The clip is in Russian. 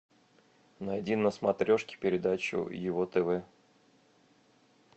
найди на смотрешке передачу его тв